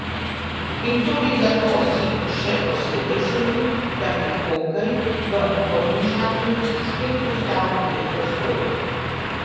In tudi zato si še posebej želim, da bi hokej v Podmežakli spet postal lepa zgodba.